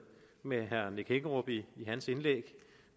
med herre nick hækkerup i hans indlæg